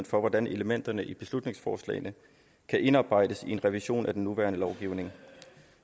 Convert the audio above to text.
for at elementerne i beslutningsforslagene kan indarbejdes i en revision af den nuværende lovgivning